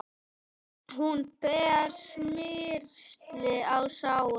Hún ber smyrsli á sárin.